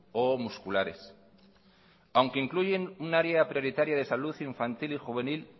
o musculares aunque incluyen un área prioritaria de salud infantil y juvenil